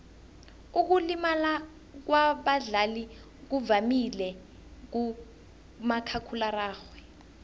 ukulimala kwabadlali kuvamile kumakhakhulararhwe